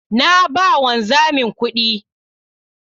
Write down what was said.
Na ba ma wanzamin kuɗi